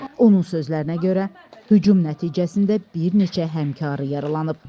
Onun sözlərinə görə, hücum nəticəsində bir neçə həmkarı yaralanıb.